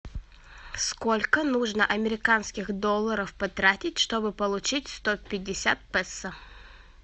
сколько нужно американских долларов потратить чтобы получить сто пятьдесят песо